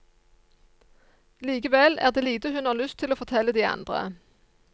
Likevel er det lite hun har lyst til å fortelle de andre.